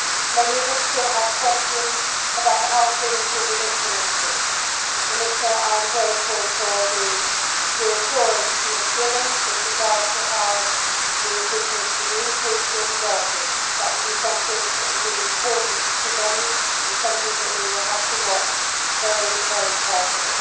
many of us still have questions about how things will be implemented and, Commissioner, I am grateful for the reassurance you have given with regard to how the indigenous communities will be dealt with that will be something which will be important to many and something that we will have to watch very carefully.